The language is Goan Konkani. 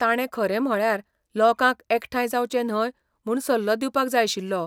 ताणें खरें म्हळ्यार लोकांक एकठांय जावचें न्हय म्हूण सल्लो दिवपाक जाय आशिल्लो.